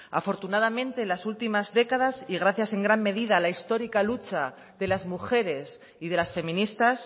afortunadamente en las últimas décadas y gracias en gran medida a la histórica lucha de las mujeres y de las feministas